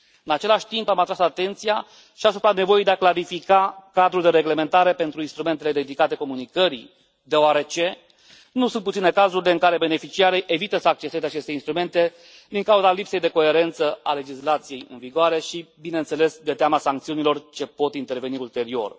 În același timp, am atras atenția și asupra nevoii de a clarifica cadrul de reglementare pentru instrumentele dedicate comunicării, deoarece nu sunt puține cazurile în care beneficiarii evită să acceseze aceste instrumente din cauza lipsei de coerență a legislației în vigoare și, bineînțeles, de teama sancțiunilor ce pot interveni ulterior.